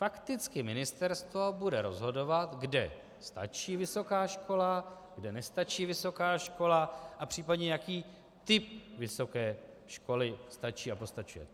Fakticky ministerstvo bude rozhodovat, kde stačí vysoká škola, kde nestačí vysoká škola a případně jaký typ vysoké školy stačí a postačuje.